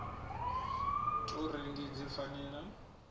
tou rengiwa dzi fanela u